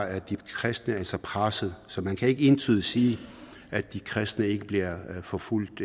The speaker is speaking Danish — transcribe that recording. er de kristne altså presset så man kan ikke entydigt sige at de kristne ikke bliver forfulgt